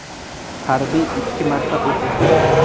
Harbiy ikki marta o‘q uzgan.